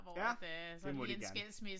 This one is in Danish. Ja det må de gerne